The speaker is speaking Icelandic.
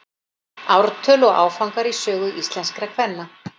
Ártöl og áfangar í sögu íslenskra kvenna.